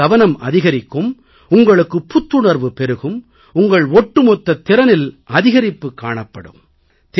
உங்கள் கவனம் அதிகரிக்கும் உங்களுக்குப் புத்துணர்வு பெருகும் உங்கள் ஒட்டுமொத்தத் திறனில் அதிகரிப்புக் காணப்படும்